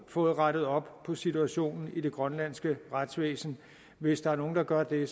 fået rettet op på situationen i det grønlandske retsvæsen hvis der er nogen der gør det